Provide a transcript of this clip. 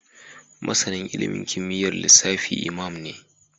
Masanin ilimin kimiyyar lissafi Imam ne